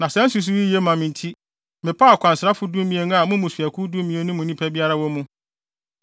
Na saa nsusuwii yi ye ma me nti mepaw akwansrafo dumien a mo mmusuakuw dumien no mu nnipa biara wɔ mu.